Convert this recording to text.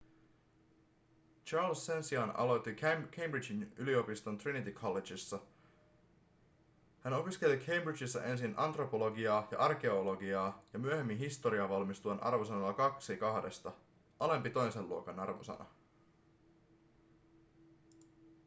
charles sen sijaan aloitti cambridgen yliopiston trinity collegessa. hän opiskeli cambridgessa ensin antropologiaa ja arkeologiaa ja myöhemmin historiaa valmistuen arvosanalla 2:2 alempi toisen luokan arvosana